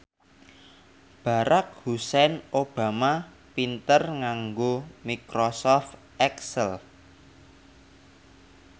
Barack Hussein Obama pinter nganggo microsoft excel